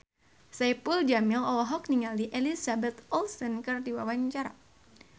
Saipul Jamil olohok ningali Elizabeth Olsen keur diwawancara